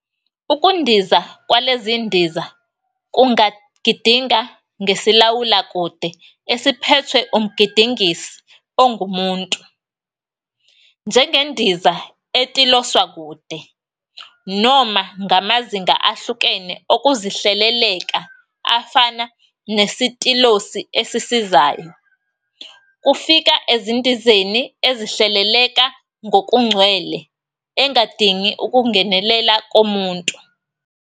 Ukundiza kwalezindiza kungagidinga ngesilawula-kude, esiphethwe umgidingisi ongumuntu, njengendiza etiloswa-kude, noma ngamazinga ahlukene okuzihleleleka, afana nesitilosi esisizayo, kufika endizeni ezihleleleka ngokugcwele engadingi ukungenelela komuntu.